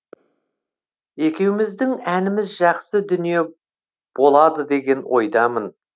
екеуміздің әніміз жақсы дүние болады деген ойдамын